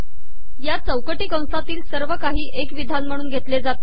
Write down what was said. या चौकटी कसातील सवर काही एक िवधान महणून घेतले जाते